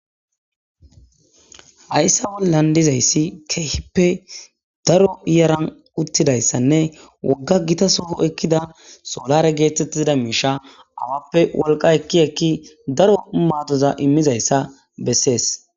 Hayssa bollan dizayssi keehippe daro yaran uttidayssanne keehi wogga gita soh oykida solaare geetettiza miizshsha awappe wolqa ekki daro maadoza immizayssa bessees.